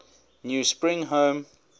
new spring home